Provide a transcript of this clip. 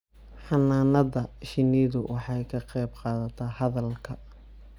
Xannaanada shinnidu waxay ka qayb qaadataa hadalka